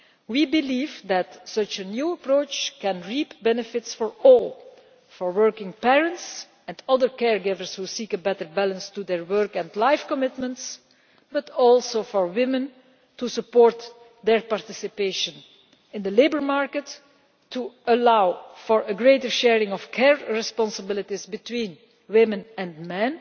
We believe that such a new approach can bring benefits for all for working parents and other care givers who seek a better balance in their work and life commitments, and also for women in terms of supporting their participation in the labour market, allowing for greater sharing of care responsibilities between women and men,